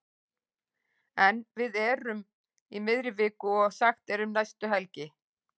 Ef við erum í miðri viku og sagt er um næstu helgi.